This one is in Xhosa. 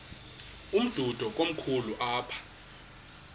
umdudo komkhulu apha